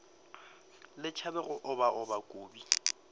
le tšhabe go obaoba kobi